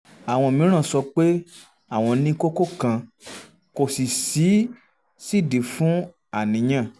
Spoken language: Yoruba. àwọn mìíràn sọ pé àwọn ní kókó kan kò sì sídìí fún àníyàn